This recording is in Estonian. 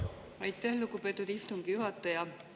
Aitäh, lugupeetud istungi juhataja!